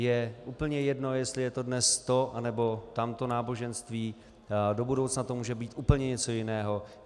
Je úplně jedno, jestli je to dnes to nebo tamto náboženství, do budoucna to může být úplně něco jiného.